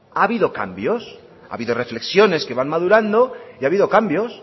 ha habido cambios ha habido reflexiones que van madurando y ha habido cambios